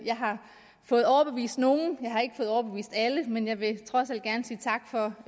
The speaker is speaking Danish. jeg har fået overbevist nogle jeg har ikke fået overbevist alle men jeg vil trods alt gerne sige tak for